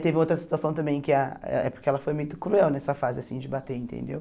Teve outra situação também, que ah é porque ela foi muito cruel nessa fase assim de bater, entendeu?